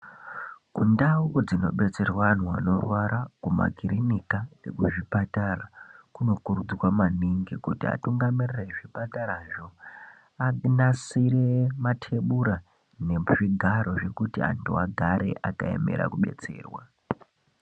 Kundau dzinobetserwa antu anorwara kumakirinikwa, muzvipatara. Kunokurudzirwa maningi kuti atungamiriri ezvipatarazvo anasire matebura nezvigaro zvekuti antu agare akaemera kubetserwa.